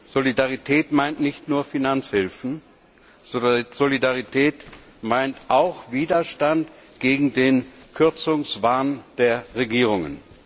Solidarität meint nicht nur Finanzhilfen, sondern Solidarität meint auch Widerstand gegen den Kürzungswahn der Regierungen.